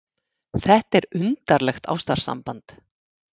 Þetta er undarlegt ástarsamband!